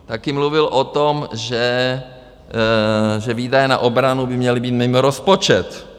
Také mluvil o tom, že výdaje na obranu by měly být mimo rozpočet.